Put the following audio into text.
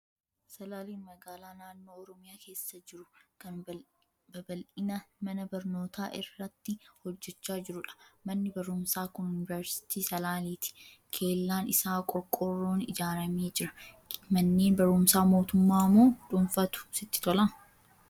Salaaleen magaalaa naannoo Oromiyaa keessa jiru, kan babal'ina mana barnootaa irratti hojjechaa jirudha. Manni barumsaa kun Yuuniveersiitii salaaleeti. Kellaan isaa qorqoorroon ijaaramee jira. Manneen barumsaa mootummaa moo dhuunfaatu sitti tola?